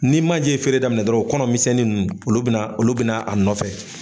Ni manje feere daminɛ dɔrɔn o kɔnɔ misɛnnin nunnu olu bɛna olu bɛna a nɔ nɔfɛ.